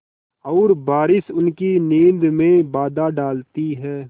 और बारिश उसकी नींद में बाधा डालती है